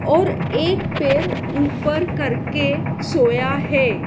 और एक पैर ऊपर करके सोया है।